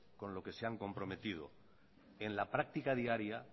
con lo que se han comprometido en la práctica diaria